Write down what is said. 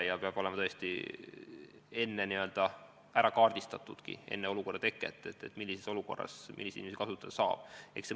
Ja peab tõesti olema ära kaardistatud juba enne keeruliste olukordade teket, millises olukorras milliseid inimesi kasutada saab.